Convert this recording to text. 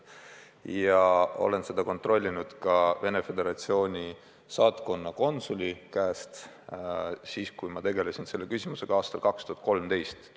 Ja ma kontrollisin seda ka Venemaa Föderatsiooni saatkonna konsuli käest, kui ma selle küsimusega aastal 2013 tegelesin.